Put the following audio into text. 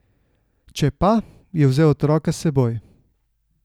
Če pa, je vzel otroka s seboj.